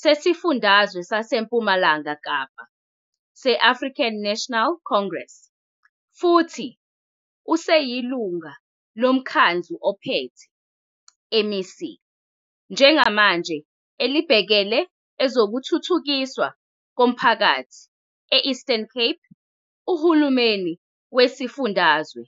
sesiFundazwe saseMpumalanga Kapa se- African National Congress, futhi oseyiLungu loMkhandlu oPhethe, MEC, njengamanje elibhekele ezokuThuthukiswa koMphakathi e- Eastern Cape uhulumeni wesifundazwe.